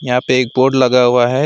यहां पे एक बोर्ड लगा हुआ है।